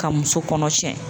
Ka muso kɔnɔ tiɲɛ.